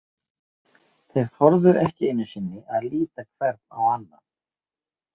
Þeir þorðu ekki einusinni að líta hver á annan.